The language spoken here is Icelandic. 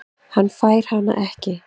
Hann fær hana ekki.